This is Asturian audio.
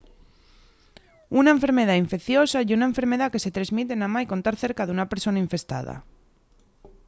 una enfermedá infeiciosa ye una enfermedá que se tresmite namái con tar cerca d'una persona infestada